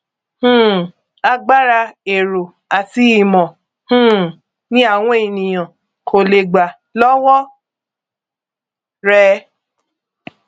um agbára èrò àti ìmọ um ni àwọn ènìyàn kò lè gbà lọwọ rẹ